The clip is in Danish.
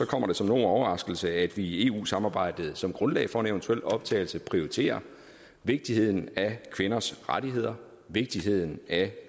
kommer det som nogen overraskelse at vi i eu samarbejdet som grundlag for en eventuel optagelse prioriterer vigtigheden af kvinders rettigheder og vigtigheden af